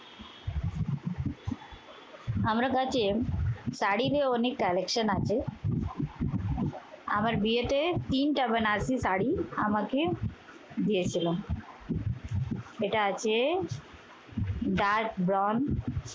আমার কাছে তারিনের অনেক collection আছে। আমার বিয়েতে তিনটা বেনারসি শাড়ি আমাকে দিয়েছিল। এটা আছে ডাট বন্ড